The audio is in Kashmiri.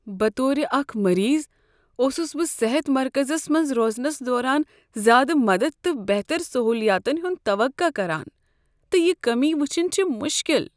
بطور اکھ مریض اوسس بہٕ صحت مرکزس منز روزنس دوران زیادٕ مدد تہٕ بہتر سہولیاتن ہُند توقع کران، تہٕ یِہ کمی ؤچھن چھ مشکل ۔